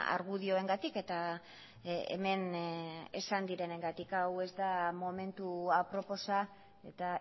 argudioengatik eta hemen esan direnengatik hau ez da momentu aproposa eta